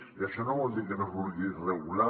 i això no vol dir que no es vulgui regular